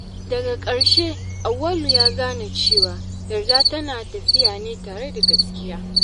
Daga ƙarshe, Auwalu ya gane cewa yarda tana tafiya ne tare da gaskiya.